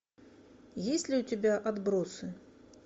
есть ли у тебя отбросы